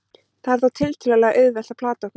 það er þó tiltölulega auðvelt að plata okkur